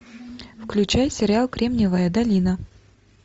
включай сериал кремниевая долина